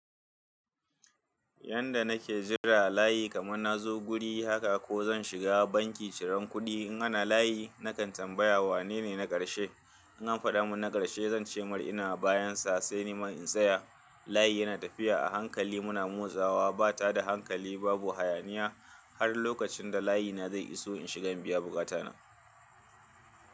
Yanda nake jira layi kamar na zo guri haka ko zan shiga banki ciran kuɗi. In ana layi nakan tambaya wanene na karshe. In an faɗa mun na karshe zan ce mar'ina bayansa sai ni man in tsaya. Layi yana tafiya a hankali muna motsawa ba ta da hankali babu hayaniya har lokacin da layina zai iso in shigan biya buƙatana.